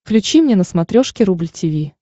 включи мне на смотрешке рубль ти ви